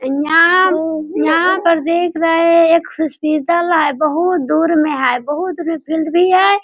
यहाँयहाँ पर देख रहे हैं एक हॉस्पिटल है बहोत दूर में है बहोत फील्ड भी है।